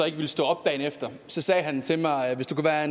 ikke ville stå op dagen efter sagde han til mig hvis do ka